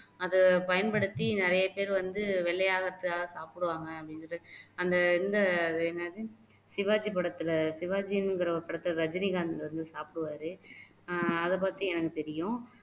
அதை பயன்படுத்தி நிறைய பேர் வந்து வெள்ளை ஆகுறதுக்காக சாப்புடுவாங்க அப்படின்னு சொல்லிட்டு அந்த இந்த என்னது சிவாஜி படத்துல சிவாஜிங்குற ஒருபடத்துல ரஜினிகாந்த் வந்து சாப்புடுவாரு ஆஹ் அதை பத்தி எனக்கு தெரியும்